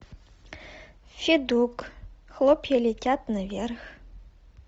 федук хлопья летят наверх